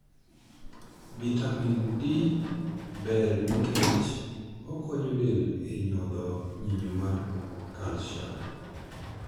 Bitamin D ber nickech onkonyo del e nyodho nyinyo mar kalsiam.